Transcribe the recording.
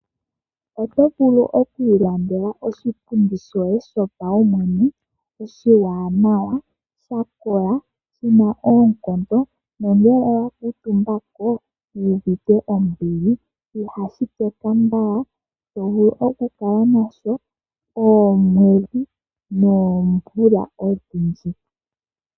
Oto vulu oku ilandela oshipundi shoye shopaumwene oshiwanawa, sha kola shina oonkondo. Nongele owa kuutumba ko owu uvite ombili. Ihashi teka mbala, to vulu okukala nasho oomwedhi noomvula odhindji.